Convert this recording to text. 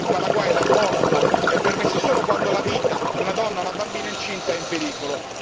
Ricordo che in Paraguay l'aborto è permesso solo quando la vita di una donna, una bambina incinta è in pericolo.